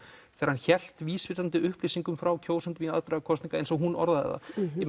þegar hann hélt vísvitandi upplýsingum frá kjósendum í aðdraganda kosninga eins og hún orðaði það